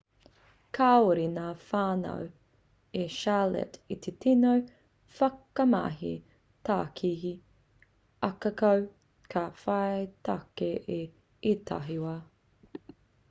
kāore ngā whānau i charlotte i te tino whakamahi tākihi ahakoa ka whai take i ētahi wā